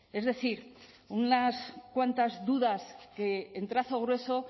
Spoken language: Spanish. es decir unas cuantas dudas que en trazo grueso